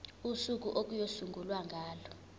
usuku okuyosungulwa ngalo